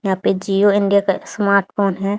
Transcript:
यहां पे जिओ इंडिया का स्मार्ट फोन है।